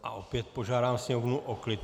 A opět požádám sněmovnu o klid.